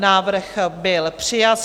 Návrh byl přijat.